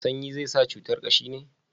sanyi zai sa cutar kashi ne?